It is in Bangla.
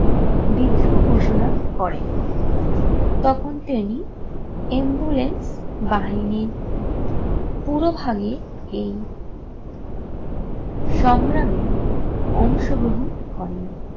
বিদ্রোহ ঘোষণা করেন। তখন তিনি বাহিনীর পুরো ভাগে এই সংগ্রামে অংশগ্রহণ করেন।